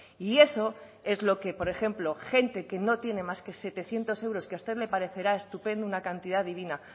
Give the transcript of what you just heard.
y eso es lo que por ejemplo gente que no tiene más que setecientos euros que a usted le parecerá estupendo una cantidad divina